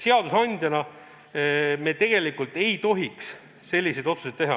Seadusandjana me tegelikult ei tohiks selliseid otsuseid teha.